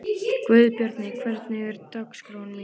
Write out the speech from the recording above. Guðbjarni, hvernig er dagskráin?